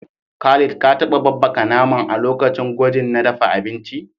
Khalid, ka taba babbaka naman a lokacin gwajin na dafa abinci?